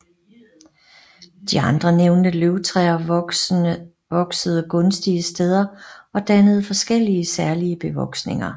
De andre nævnte løvtræer voksede gunstige steder og dannede forskellige særlige bevoksninger